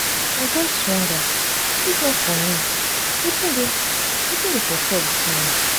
i just dey wonder if not for me wetin dey for chop dis morning.